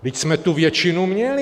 Vždyť jsme tu většinu měli.